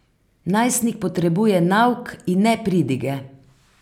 Najstnik potrebuje nauk in ne pridige.